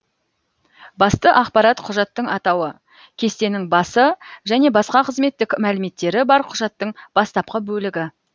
басты ақпарат құжаттың атауы кестенің басы және басқа қызметтік мәліметтері бар құжаттың бастапқы бөлігі